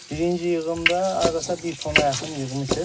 Birinci yığımda hardasa bir tona yaxın yığmışıq.